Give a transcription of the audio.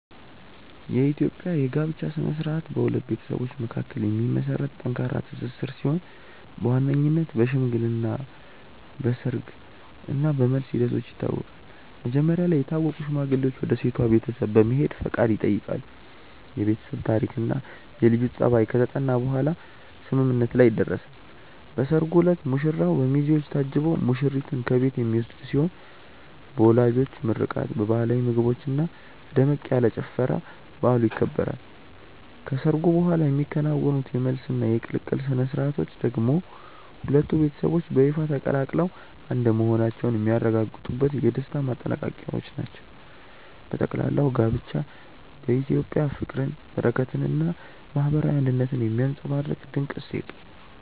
የኢትዮጵያ የጋብቻ ሥነ ሥርዓት በሁለት ቤተሰቦች መካከል የሚመሰረት ጠንካራ ትስስር ሲሆን በዋነኝነት በሽምግልና፣ በሰርግ እና በመልስ ሂደቶች ይታወቃል። መጀመሪያ ላይ የታወቁ ሽማግሌዎች ወደ ሴቷ ቤተሰብ በመሄድ ፈቃድ ይጠይቃሉ፤ የቤተሰብ ታሪክና የልጁ ጠባይ ከተጠና በኋላም ስምምነት ላይ ይደረሳል። በሰርጉ ዕለት ሙሽራው በሚዜዎች ታጅቦ ሙሽሪትን ከቤት የሚወስድ ሲሆን በወላጆች ምርቃት፣ በባህላዊ ምግቦችና በደመቅ ያለ ጭፈራ በዓሉ ይከበራል። ከሰርጉ በኋላ የሚከናወኑት የመልስና የቅልቅል ሥነ ሥርዓቶች ደግሞ ሁለቱ ቤተሰቦች በይፋ ተቀላቅለው አንድ መሆናቸውን የሚያረጋግጡበት የደስታ ማጠናቀቂያዎች ናቸው። በጠቅላላው ጋብቻ በኢትዮጵያ ፍቅርን፣ በረከትንና ማህበራዊ አንድነትን የሚያንፀባርቅ ድንቅ እሴት ነው።